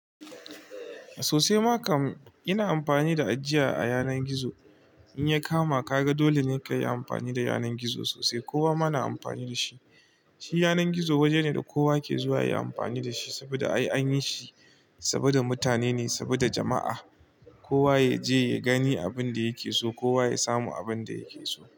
Sosai ma kan, ina amfani da ajiya a yanar gizo. In ya kama ka ga, dole ne ka yi amfani da yanar gizo sosai. Kowa ma na amfani da shi. Shi yanar gizo waje ne da kowa ke zuwa ya yi amfani da shi saboda ai an yi shi saboda mutane ne, saboda jama'a. Kowa ya je ya gani abin da yake so. Kowa ya samu abin da yake so.